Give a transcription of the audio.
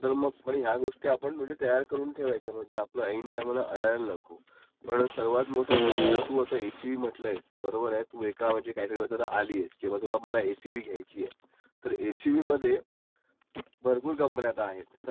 आता तर आपण कुठली कंपनी चॉइस करायची ते पण तू बघं, मग तू हे ऑनलाइनपण चेक करू शकतेस, मग तुला शोरूमला जायची गरज नाही, आदी कसं होतं की आपल्याला शोरूमला जायला लागायचं आता ह्या शोरूमला गेलो, तिकडे अर्धा तास गेला, अजून एका शोरूमला गेलो तिथे अर्धा तास गेला असा आपला दिवसं वाया जायचा.